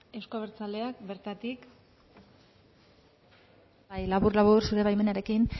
euzko abertzaleak bertatik labur labur zure baimenarekin